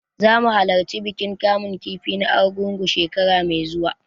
Zamu halarci bikin kamun kifi na Argungu, shekara mai zuwa.